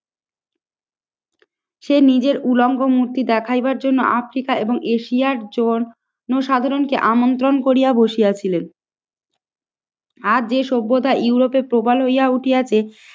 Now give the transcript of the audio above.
সে নিজের উলঙ্গ মূর্তি দেখাইবার জন্য আফ্রিকা এবং এশিয়ার জনসাধারণকে আমন্ত্রণ করিয়া বসিয়া ছিলেন। আর যে সভ্যতা ইউরোপে প্রবাল হইয়া উঠিয়াছে